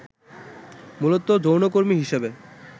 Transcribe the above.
মূলত যৌনকর্মী হিসেবে